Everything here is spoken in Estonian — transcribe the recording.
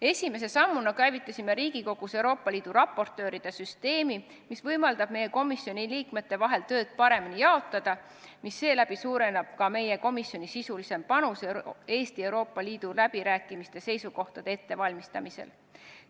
Esimese sammuna käivitasime Riigikogus Euroopa Liidu raportööride süsteemi, mis võimaldab meie komisjoni liikmete vahel tööd paremini jaotada, misläbi suureneb ka meie komisjoni sisuline panus Eesti ja Euroopa Liidu läbirääkimiste seisukohtade ettevalmistamisel.